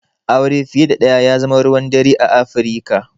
Aure fiye da ɗaya ya zama ruwan dare a Afirika.